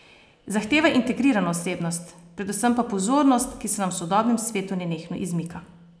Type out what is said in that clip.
Zahteva integrirano osebnost, predvsem pa pozornost, ki se nam v sodobnem svetu nenehno izmika.